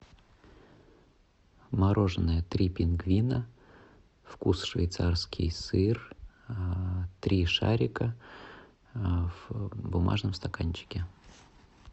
мороженое три пингвина вкус швейцарский сыр три шарика в бумажном стаканчике